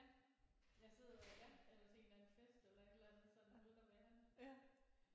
Ja jeg sidder ja eller til en eller anden fest eller et eller andet sådan ude at være det